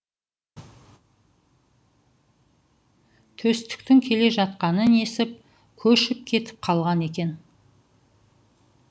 төстіктің келе жатқанын естіп көшіп кетіп қалған екен